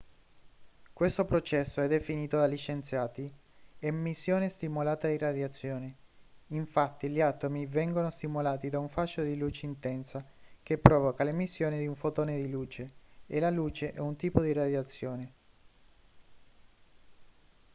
questo processo è definito dagli scienziati emissione stimolata di radiazione infatti gli atomi vengono stimolati da un fascio di luce intensa che provoca l'emissione di un fotone di luce e la luce è un tipo di radiazione